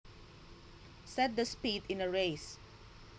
Set the speed in a race